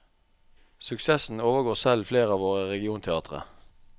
Suksessen overgår selv flere av våre regionteatre.